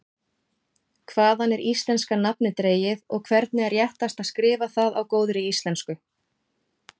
Hvaðan er íslenska nafnið dregið og hvernig er réttast að skrifa það á góðri íslensku?